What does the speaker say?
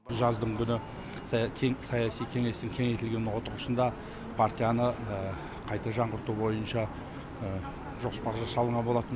жаздың күні саяси кеңестің кеңейтілген отырысында партияны қайта жаңғырту бойынша жоспар жасалынған болатын